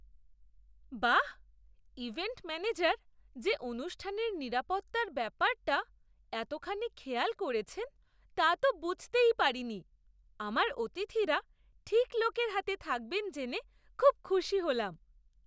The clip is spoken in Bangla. বাহ্, ইভেন্ট ম্যানেজার যে অনুষ্ঠানের নিরাপত্তার ব্যাপারটা এতখানি খেয়াল করেছেন তা তো বুঝতেই পারিনি! আমার অতিথিরা ঠিক লোকের হাতে থাকবেন জেনে খুব খুশি হলাম।